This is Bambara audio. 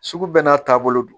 Sugu bɛɛ n'a taabolo don